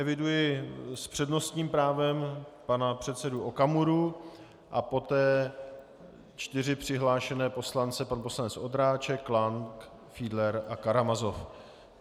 Eviduji s přednostním právem pana předsedu Okamuru a poté čtyři přihlášené poslance - pan poslanec Ondráček, Lang, Fiedler a Karamazov.